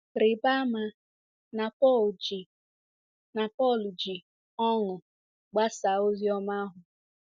Rịba ama na Pọl ji na Pọl ji ọṅụ gbasaa ozi ọma ahụ.